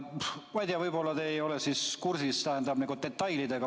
Ma ei tea, võib-olla te ei ole kursis detailidega.